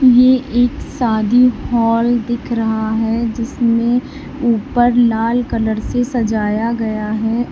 ये एक शादी हॉल दिख रहा है जिसमें ऊपर लाल कलर से सजाया गया है।